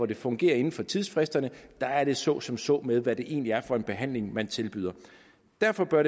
det fungerer inden for tidsfristerne er det så som så med hvad det egentlig er for en behandling man tilbyder derfor bør